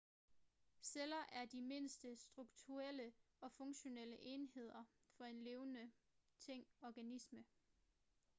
celler er de mindste strukturelle og funktionelle enheder for en levende ting organisme